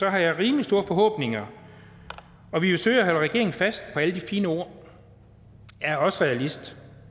jeg rimelig store forhåbninger og vi vil søge at holde regeringen fast på alle de fine ord jeg er også realist